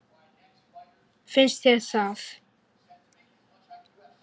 Finnst þér það?